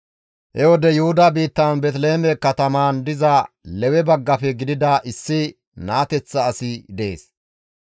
He wode Yuhuda biittan Beeteliheeme katamaan diza Lewe baggafe gidida issi naateththa asi dees.